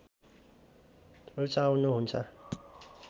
रुचाउनु हुन्छ